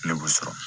Ne b'u sɔrɔ